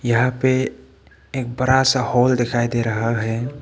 यहां पे एक बड़ा सा हॉल दिखाई दे रहा है।